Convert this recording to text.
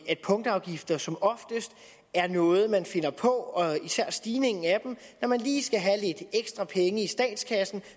at punktafgifter som oftest er noget man finder på og især stigningen af dem når man lige skal have lidt ekstra penge i statskassen